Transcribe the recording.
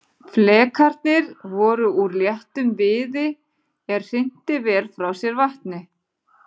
Flekarnir voru úr léttum viði er hrinti vel frá sér vatni.